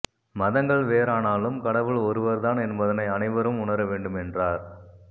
மதங்கள் வேறானாலும் கடவுள் ஒருவர்தான் என்பதனை அனைவரும் உணர வேண்டும் என்றார்